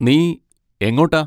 നീ എങ്ങോട്ടാ?